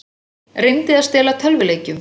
Reyndi að stela tölvuleikjum